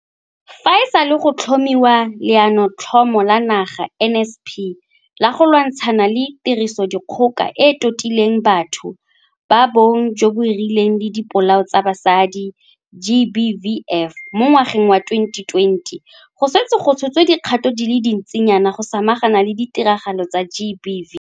Fa e sale go tlhomiwa Leanotlhomo la Naga NSP la go lwantshana le Tirisodikgoka e e Totileng Batho ba Bong jo bo Rileng le Dipolao tsa Basadi GBVF mo ngwageng wa 2020, go setse go tshotswe dikgato di le dintsinyana go samagana le ditiragalo tsa GBV.